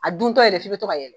A duntɔ yɛrɛ f'i bɛ to ka yɛlɛ.